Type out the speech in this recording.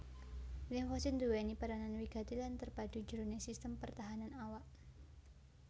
Limfosit nduwèni peranan wigati lan terpadu jroning sistem pertahanan awak